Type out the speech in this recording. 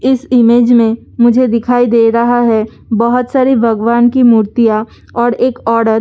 इस इमेज में मुझे‍ दिखाई दे रहा है बहुत सारी भगवान की मूर्तिंया और एक औड़त आ भी है --